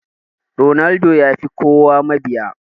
Ronaldo yafi kowa mabiya.